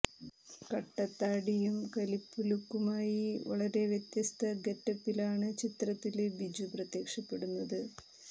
കട്ടത്താടിയും കലിപ്പു ലുക്കുമായി വളരെ വ്യത്യസ്തമായ ഗെറ്റപ്പിലാണ് ചിത്രത്തില് ബിജു പ്രത്യക്ഷപ്പെടുന്നത്